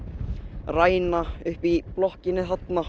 ræna uppi í blokkinni þarna